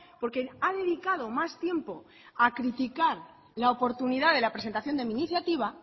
porque ha dedicado más tiempo a criticar la oportunidad de la presentación de mi iniciativa